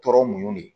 Tɔɔrɔ mun ye